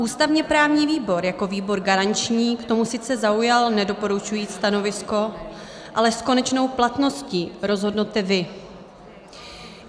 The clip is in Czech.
Ústavně-právní výbor jako výbor garanční k tomu sice zaujal nedoporučující stanovisko, ale s konečnou platností rozhodnete vy.